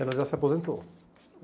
Ela já se aposentou.